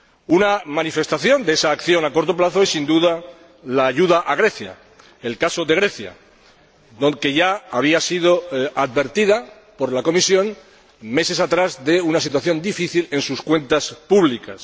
Una manifestación de esa acción a corto plazo es, sin duda, la ayuda a Grecia, que ya había sido advertida por la Comisión, meses atrás, de una situación difícil en sus cuentas públicas.